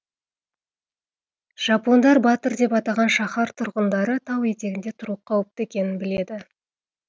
жапондар батыр деп атаған шаһар тұрғындары тау етегінде тұру қауіпті екенін біледі